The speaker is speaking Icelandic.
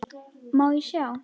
Má ég sjá?